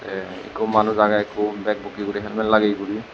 te ekko manuj aage ekko bag bukke guri helmet lageyi guri.